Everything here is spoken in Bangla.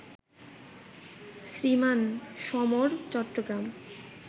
শ্রীমান সমর, চট্টগ্রাম